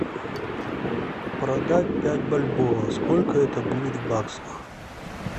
продать пять бальбов сколько это будет в баксах